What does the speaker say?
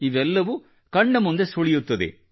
ಇದೆಲ್ಲವೂ ಕಣ್ಣ ಮುಂದೆ ಸುಳಿಯುತ್ತದೆ